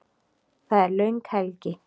Það er löng helgi.